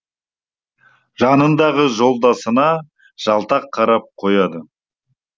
жанындағы жолдасына жалтақ қарап қояды